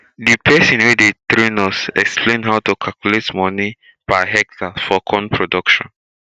the person wey dey train us explain how to calculate money per hectare for corn production